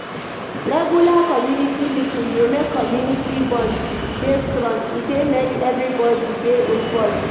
Regular community meeting dey make community bond dey strong, e dey make everybody dey involved